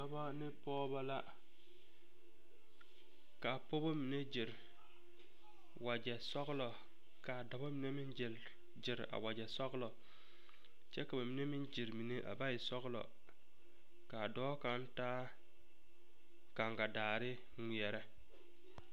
Dɔbɔ ne pɔgeba la ka a pɔgeba mine gyere wagyɛ sɔglɔ ka dɔbɔ mine meŋ gyere a wagyɛ sɔglɔ kyɛ ka ba mine meŋ gyere mine a ba e sɔglɔ ka a dɔɔ kaŋ taa gaŋgadaare ŋmeɛrɛ.